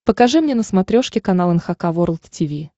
покажи мне на смотрешке канал эн эйч кей волд ти ви